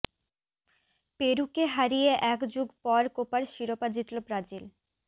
পেরুকে হারিয়ে এক যুগ পর কোপার শিরোপা জিতল ব্রাজিল